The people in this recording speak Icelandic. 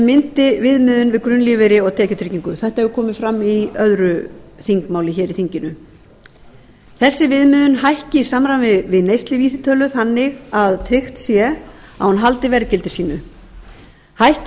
myndi viðmiðun fyrir grunnlífeyri og tekjutryggingu þetta hefur komið fram í öðru þingmáli hér í þinginu þessi viðmiðun hækki í samræmi við neysluvísitölu þannig að tryggt sé að hún haldi verðgildi sínu hækki